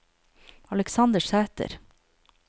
Aleksander Sæter